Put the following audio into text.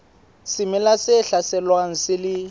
semela se hlaselwang se le